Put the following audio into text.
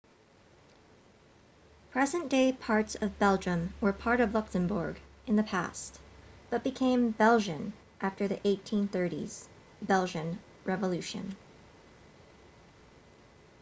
present-day parts of belgium were part of luxembourg in the past but became belgian after the 1830s belgian revolution